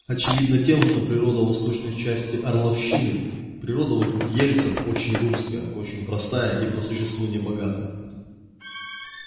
очевидно тем что природа восточной части орловщины природа вокруг ельца очень русская очень простая и по существу небогатая